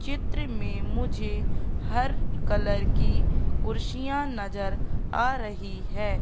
चित्र में मुझे हर कलर की कुर्सिंया पर नज़र आ रही है।